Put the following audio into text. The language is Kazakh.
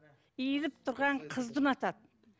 иіліп тұрған қызды ұнатады